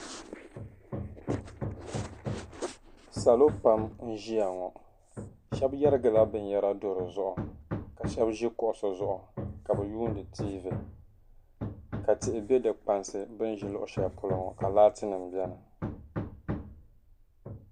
Salo pam n-ʒia ŋɔ. Shɛba yarigila binyɛra do di zuɣu ka shɛba ʒi kuɣisi zuɣu ka bɛ yuundi tiivi ka tihi be di kpansi bɛ ni ʒi luɣishɛli polo ŋɔ ka laatinima beni.